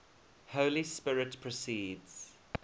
holy spirit proceeds